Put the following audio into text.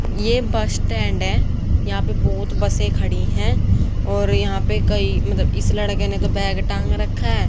ये bus stand है यहां पे बहुत बसें खड़ी हैं और यहां पे कई ममतलब इस लड़के ने तो बैग टांग रखा है।